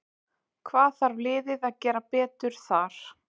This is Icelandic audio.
Hvað þarf liðið að gera betur þar?